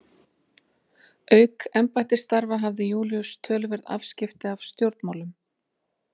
Auk embættisstarfa hafði Júlíus töluverð afskipti af stjórnmálum.